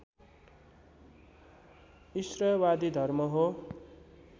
ईश्वरवादी धर्म हो